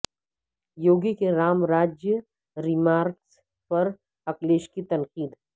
یوگی کے رام راجیہ ریمارکس پر اکھلیش کی تنقید